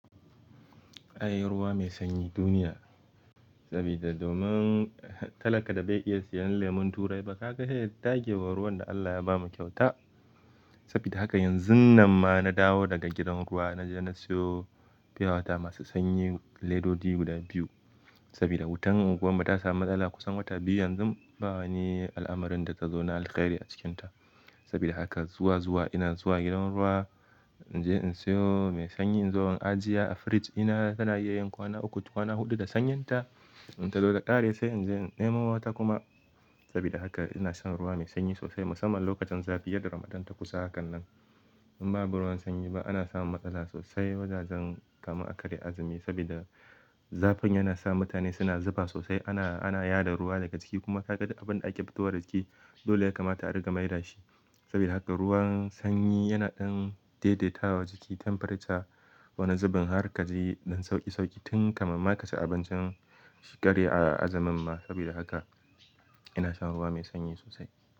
Ai ruwa mai sanyi duniya. Saboda domin talaka da bai iya siyan lemon turai ba, ka ga sai ya dage wa ruwan da Allah ya bamu kyauta. Saboda haka yanzun nan ma na dawo daga gidan ruwa na je na siyo pure water masu sanyi ledoji guda biyu. Saboda wutar unguwarmu ta samu matsala kusan wata biyu yanzu ba wani al'amarin da ta zo na alkhairi a cikinta. Saboda haka zuwa-zuwa ina zuwa gidan ruwa in je in siyo mai sanyi in zo in ajiye a fridge dina yana iya yin kwana uku kwana huɗu da sanyinta. In ta zo ta ƙare sai in je in nemo wata kuma. Saboda haka ina shan ruwa mai sanyi sosai musamman lokacin zafi yadda Ramadan ta kusa hakan nan. In babu ruwan sanyi ana samun matsala sosai wajajen kamar a karya azumi saboda zafin yana sa mutane suna zufa sosai. Ana yada ruwa daga jiki kuma ka ga abin da ake fitowa daga jiki dole ya kamata a rika mai da shi. Saboda haka ruwan sanyi yana ɗan daidaitawa jiki, temperature wani zubin har kaji ɗan sauki-sauki tun kafin ma ka ci abincin shekare a azumin ma. Sabida haka ina shan ruwa mai sanyi sosai.